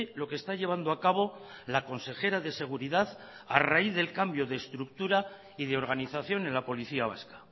lo que está llevando a cabo la consejera de seguridad a raíz del cambio de estructura y de organización en la policía vasca